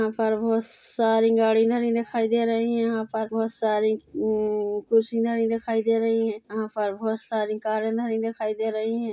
यहां पर बहुत सारी गाड़ी धरी दिखाई दे रही है यहां पर बहुत सारी कुर्सि धरी दिखाई दे रही है यहां पर बहुत सारी कारे धरी दिखाई दे रही है।